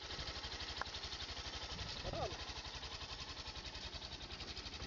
Korona?